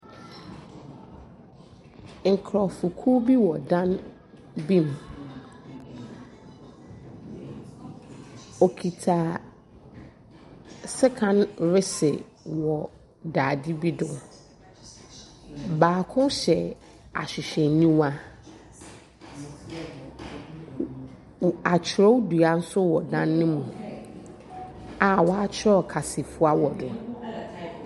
Nkurɔfokuo bi wɔ dan bi mu. Wɔkita sekan rese wɔ dade bi do. Baako hyɛ ahwehwɛniwa. W atwerɛdua nso wɔ dan no mu a wɔatwerɛ kasafua wɔ do.